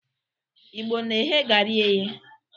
Igbo na-eghe garị eye.